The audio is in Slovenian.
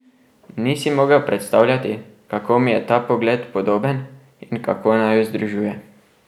Ni si mogel predstavljati, kako mi je ta pogled podoben in kako naju združuje.